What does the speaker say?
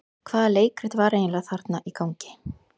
Hvaða leikrit var eiginlega þarna í gangi?